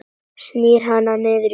Snýr hana niður á hárinu.